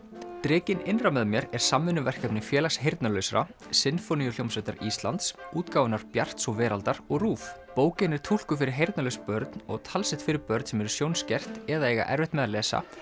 drekinn innra með mér er samvinnuverkefni Félags heyrnarlausra Sinfóníuhljómsveitar Íslands útgáfunnar Bjarts og Veraldar og RÚV bókin er túlkuð fyrir heyrnarlaus börn og talsett fyrir börn sem eru sjónskert eða eiga erfitt með að lesa